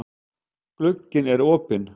Glugginn er opinn.